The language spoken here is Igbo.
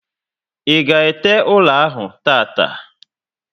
I ga ete ụlọ ahụ tata